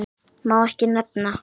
Má ekki nefna